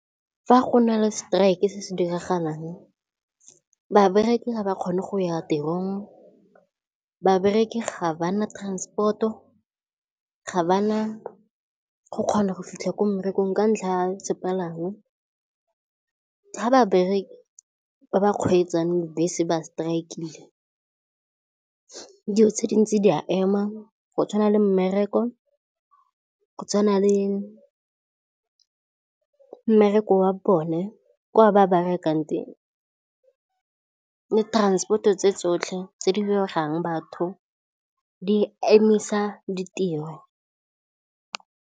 Fa go na le strike-e se se diragalang babereki ga ba kgone go ya tirong. Babereki ga ba na transport-o, ga ba na go kgona go fitlha ko mmerekong ka ntlha ya sepalangwa. Fa babereki ba ba kgweetsang bese ba strike, dilo tse di ntse di a ema go tshwana le mmereko, go tshwana le mmereko wa bone kwa ba berekang teng, le transport-o tse tsotlhe tse di batho di emisa ditiro.